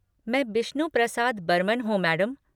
मैं, बिश्नू प्रसाद बर्मन हूँ मैडम।